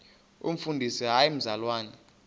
umfundisi hayi mzalwana